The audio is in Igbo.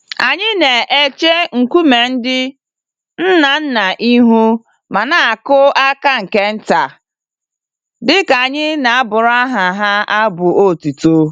Anyị n'eche nkume ndị ńnà ńnà ihu ma n'akụ àkà nke ntà, dịka anyị n'abụrụ aha ha abụ otuto.